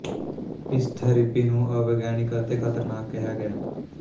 ਇਸ ਥੈਰੇਪੀ ਨੂੰ ਅਵਿਗਿਆਨਿਕ ਅਤੇ ਖਤਰਨਾਕ ਕਿਹਾ ਗਿਆ